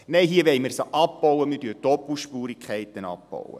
Nein, hier wollen wir sie abbauen, wir wollen Doppelspurigkeiten abbauen.